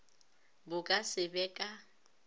bo ka se be ka